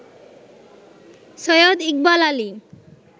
Syed Iqbal Ali